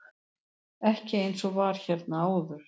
Ekki eins og var hérna áður.